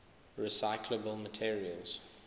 recyclable materials